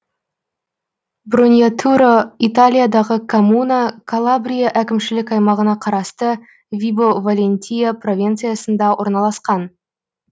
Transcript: броньятуро италиядағы коммуна калабрия әкімшілік аймағына қарасты вибо валентия провинциясында орналасқан